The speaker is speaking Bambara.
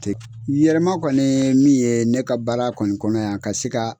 Yɛrɛma kɔni min ye ne ka baara kɔni kɔnɔ yan ka se ka